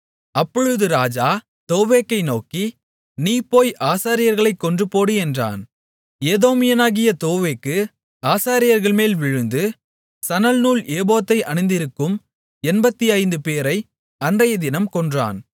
அப்பொழுது ராஜா தோவேக்கை நோக்கி நீ போய் ஆசாரியர்களைக் கொன்றுபோடு என்றான் ஏதோமியனாகிய தோவேக்கு ஆசாரியர்கள்மேல் விழுந்து சணல் நூல் ஏபோத்தை அணிந்திருக்கும் 85 பேரை அன்றையதினம் கொன்றான்